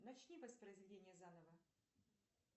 начни воспроизведение заново